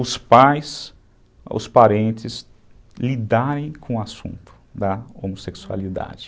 os pais, os parentes lidarem com o assunto da homossexualidade.